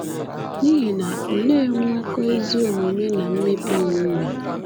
N’ihi na olee nnwekọ ezi omume na mmebi iwu nwere?